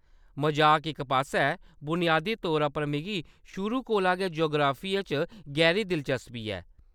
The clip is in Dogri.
मजाक इक पास्सै, बुनियादी तौरा पर मिगी शुरू कोला गै जुगराफिये च गैह्‌री दिलचस्पी ऐ।